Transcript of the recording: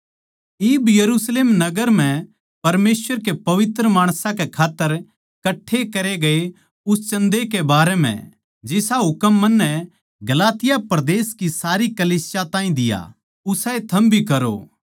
इब यरुशलेम नगर म्ह परमेसवर के पवित्र माणसां कै खात्तर कठ्ठे करे गये उस चन्दे कै बारै म्ह जिसा हुकम मन्नै गलातिया परदेस की कलीसियाओं ताहीं दिया उसाए थम भी करो